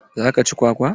Zaka ci kwakwa?